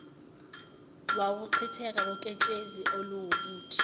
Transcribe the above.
wukuchitheka koketshezi oluwubuthi